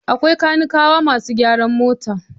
Akwai kanikawa masu gyaran mota.